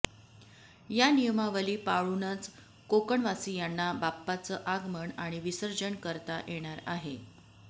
या नियमावली पाळऊनच कोकणवासियांना बाप्पाचं आगमन आणि विसर्जन करता येणार आहे